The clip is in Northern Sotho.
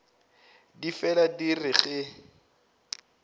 di fela di re ge